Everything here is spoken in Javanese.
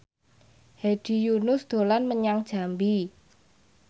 Hedi Yunus dolan menyang Jambi